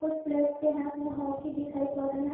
कुछ प्लेयर्स के हाथ में हॉकी दिखाई पड़ रहे हैं।